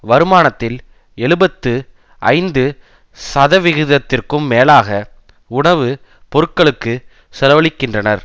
வருமானத்தில் எழுபத்து ஐந்து சதவிகிதத்திற்கும் மேலாக உணவு பொருட்களுக்கு செலவழிக்கின்றனர்